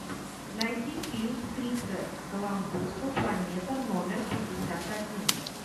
найти фильм криса коламбуса планета номер пятьдесят один